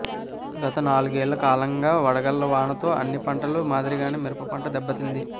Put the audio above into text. గత నాలుగేళ్ల కాలంగా వడగళ్ల వానలతో అన్ని పంటల మాదిరిగానే మిరప పంట దెబ్బతింది